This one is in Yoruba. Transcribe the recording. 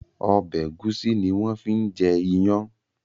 Ọbẹ̀ ẹ̀gúsí ni wón fi ń jẹ ìyàn